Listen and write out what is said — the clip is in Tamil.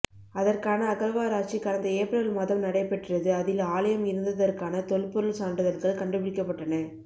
அதற்கான அகழ்வாராச்சி கடந்த ஏப்பிரல் மாதம் நடைபெற்றது அதில் ஆலயம் இருந்ததற்கான தொல்பொருள் சான்றுதல்கள் கண்டுபிடிக்கப்பட்டன